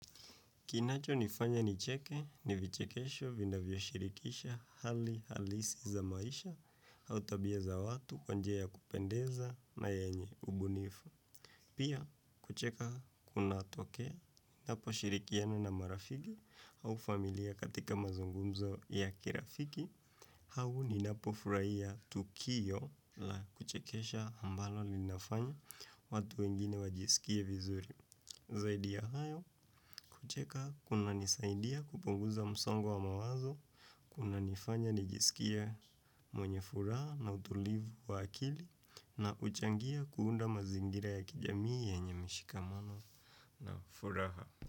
Kinacho nifanya nicheke ni vichekesho vinavyo shirikisha hali halisi za maisha au tabia za watu kwa njia ya kupendeza na yenye ubunifu. Pia kucheka kunatokea napo shirikiana na marafiki au familia katika mazungumzo ya kirafiki hau ninapo furaia tukio la kuchekesha ambalo linafanya watu wengine wajisikie vizuri. Zaidi ya hayo kucheka kuna nisaidia kupunguza msongo wa mawazo, kuna nifanya nijisikia mwenye furaha na utulivu wa akili na uchangia kuunda mazingira ya kijamii yenye mishikamano na furaha.